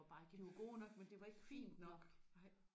De var gode nok men det var ikke fint nok